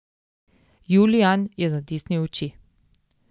Julijan je zatisnil oči.